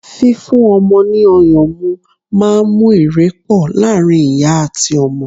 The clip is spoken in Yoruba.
fífún ọmọ ni ọyàn mu ma ń mú ìrepo laarin ìyá ati ọmọ